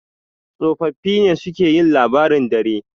tsofaffi ne suke yin labaran dare